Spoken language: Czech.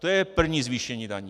To je první zvýšení daní.